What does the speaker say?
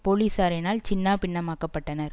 போலிசாரினால் சின்னாபின்னமாக்கப்பட்டனர்